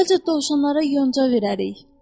Əvvəlcə dovşanlara yonca verərik.